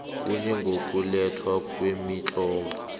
kuye ngokulethwa kwemitlolo